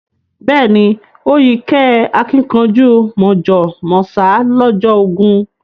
Beeni o yí kẹ́ àkìnkanjú mọ̀jọ̀ mọ̀sá lọ́jọ́ ogún